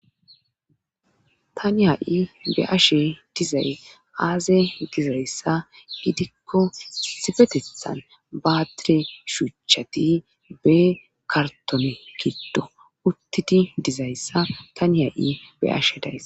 Tani ha'i be'ashe dizay aaze diza issa gidikko issipetethan baatire shuuchati ba kartone giddo uttidi diza issa tani ha'i be'ashe days.